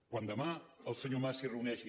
quan demà el senyor mas s’hi reuneixi